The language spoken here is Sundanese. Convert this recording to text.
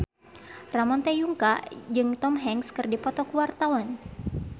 Ramon T. Yungka jeung Tom Hanks keur dipoto ku wartawan